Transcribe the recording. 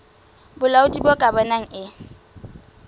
bolaodi bo ka bonang e